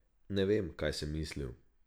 Ne vem, kaj sem mislil.